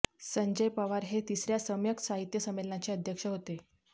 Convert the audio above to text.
संजय पवार हे तिसर्या सम्यक साहित्य संंमेलनाचे अध्यक्ष होते